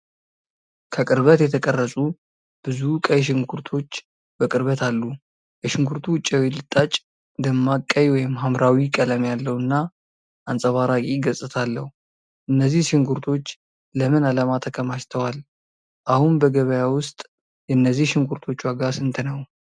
ከቅርበት የተቀረጹ ብዙ ቀይ ሽንኩርቶች በቅርበት አሉ። የሽንኩርቱ ውጫዊ ልጣጭ ደማቅ ቀይ/ሐምራዊ ቀለም ያለው እና አንጸባራቂ ገጽታ አለው። እነዚህ ሽንኩርቶች ለምን ዓላማ ተከማችተዋል? አሁን በገበያ ውስጥ የእነዚህ ሽንኩርቶች ዋጋ ስንት ነው?